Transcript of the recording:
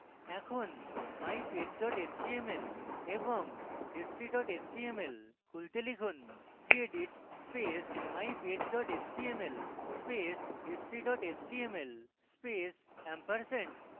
এখন mypage html এবং history html ফেলে খুলতে লিখুন gedit space mypage html space history html space ampersand